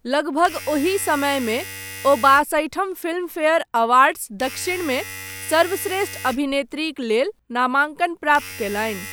लगभग ओही समयमे, ओ बासठिम फिल्मफेयर अवार्ड्स दक्षिण मे, सर्वश्रेष्ठ अभिनेत्रीक लेल, नामाङ्कन प्राप्त कयलनि।